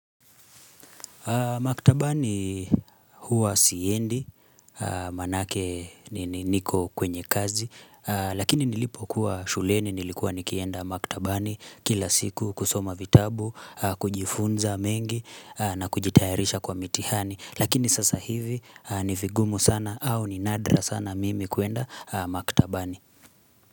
Maktabani huwa siendi, maanake niko kwenye kazi, lakini nilipokuwa shuleni nilikuwa nikienda maktabani kila siku kusoma vitabu, kujifunza mengi na kujitayarisha kwa mitihani, lakini sasa hivi ni vigumu sana au ni nadra sana mimi kuenda maktabani.